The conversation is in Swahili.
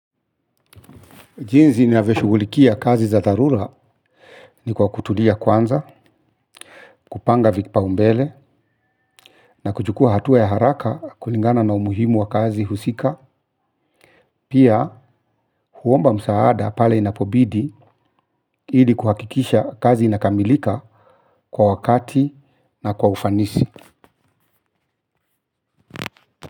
Jinzi ninavyo shugulikia kazi za dharula ni kwa kutulia kwanza, kupanga vipaumbele na kuchukua hatua ya haraka kulingana na umuhimu wa kazi husika, pia huomba msaada pale inapobidi ili kuhakikisha kazi inakamilika kwa wakati na kwa ufanisi.